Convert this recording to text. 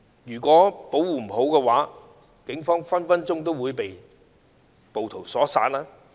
如果保護不當，警方也有可能被暴徒所殺。